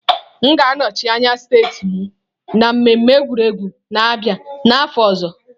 M ga-anọchi anya steeti m na mmemme egwuregwu na-abịa n'afọ ọzọ.